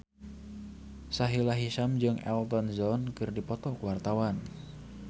Sahila Hisyam jeung Elton John keur dipoto ku wartawan